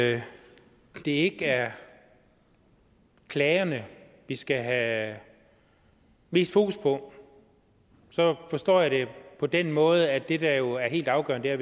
at det ikke er klagerne vi skal have mest fokus på forstår jeg det på den måde at det der jo er helt afgørende er